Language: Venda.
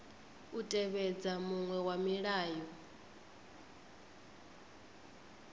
u tevhedza muṅwe wa milayo